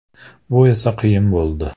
Bu esa qiyin bo‘ldi.